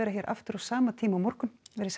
hér aftur á sama tíma á morgun verið sæl